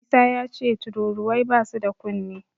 Isa yace tururuwai basu da kunne.